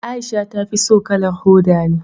Aisha ta fi so kalar hoda ne